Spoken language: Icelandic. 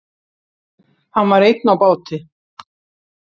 Hann var einn á báti.